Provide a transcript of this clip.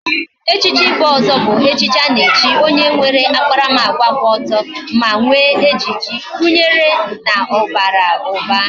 Echichi ibu ozo bu nke ana echi onye nwere akparamagwa kwu oto, ma nwe ejiji, gunyere na o bara uba